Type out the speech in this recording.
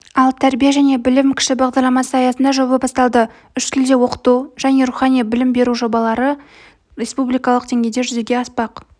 ал тәрбие және білім кіші бағдарламасы аясында жоба басталды үш тілде оқыту және рухани білім беру жобалары республикалық деңгейде жүзеге аспақ